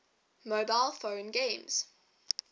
mobile phone games